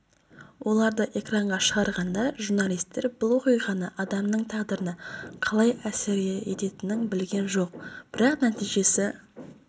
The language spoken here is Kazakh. оларды экранға шығарғанда журналистер бұл оқиғаны адамның тағдырына қалай әсер ететінін білген жоқ бірақ нәтижесі